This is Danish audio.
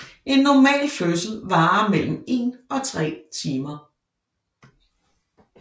En normal fødsel varer mellem en og tre timer